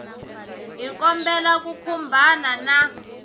hi kombela u khumbana na